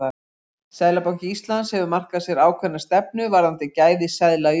Seðlabanki Íslands hefur markað sér ákveðna stefnu varðandi gæði seðla í umferð.